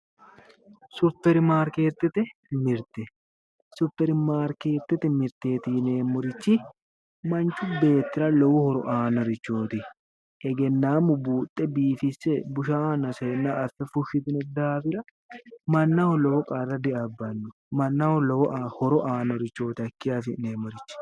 Supermarkeetete mirite supermarkeetete miriteet yineemorichi manchu beerira lowo horo aannorichoot egenanaammu buuxe biifisse bushaahanna seyannoha affe fushitino daafira mannaho lowo qarra diabbano mannaho horo aano hakii afi'neemorichi